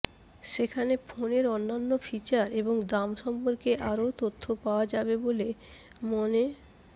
সেখানে ফোনের অন্যান্য ফিচার এবং দাম সম্পর্কে আরও তথ্য পাওয়া যাবে বলে মনে